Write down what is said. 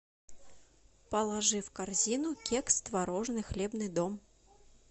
положи в корзину кекс творожный хлебный дом